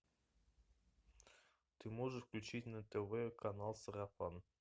ты можешь включить на тв канал сарафан